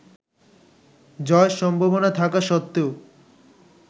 জয়ের সম্ভাবনা থাকা সত্ত্বেও